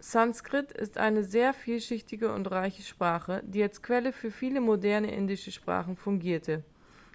sanskrit ist eine sehr vielschichtige und reiche sprache die als quelle für viele moderne indische sprachen fungierte